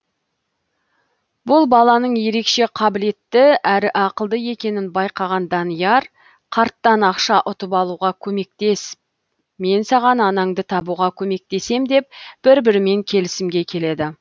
бұл баланың ерекше қабілетті әрі ақылды екенін байқаған данияр карттан ақша ұтып алуға көмектес мен саған анаңды табуға көмектесем деп бір бірімен келісімге келеді